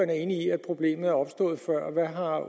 er enig i at problemet er opstået før hvad har